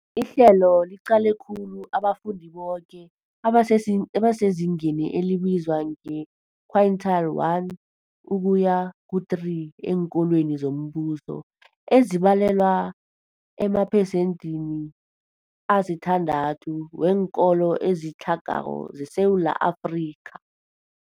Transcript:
Ihlelo liqale khulu abafundi boke abasezingeni elibizwa nge-quintile 1 ukuya ku-3 eenkolweni zombuso, ezibalelwa ema- emaphesenthini asithandathu weenkolo ezitlhagako zeSewula Afrika.